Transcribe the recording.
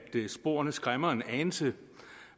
i at sporene skræmmer en anelse